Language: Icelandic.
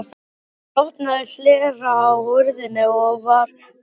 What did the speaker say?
Hann opnaði hlera á hurðinni og varð fyrir svörum.